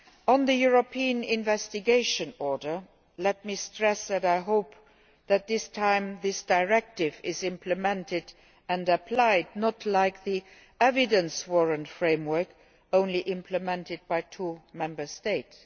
On the European Investigation Order, let me stress that I hope that this time this directive is implemented and applied, unlike the Evidence Warrant framework, which was only implemented by two Member States.